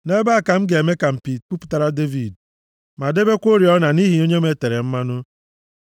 “Nʼebe a ka m ga-eme ka mpi + 132:17 Nʼebe a mpi na-egosi ịdị ike puputara Devid ma debekwa oriọna nʼihi onye m e tere mmanụ.